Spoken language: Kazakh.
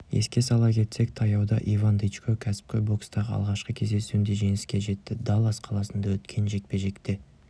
еске сала кетсек таяуда иван дычко кәсіпқой бокстағы алғашқы кездесуінде жеңіске жетті даллас қаласында өткен жекпе-жекте